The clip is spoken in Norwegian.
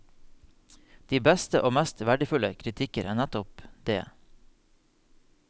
De beste og mest verdifulle kritikker er nettopp det.